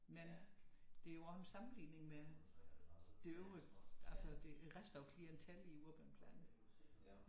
Men det er jo også en sammenligning med det øvrige altså det resten af klientellet i Urbanplanen